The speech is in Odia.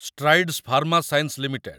Strides Pharma Science limited